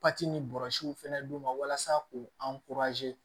Pati ni bɔrɔsiw fɛnɛ d'u ma walasa k'u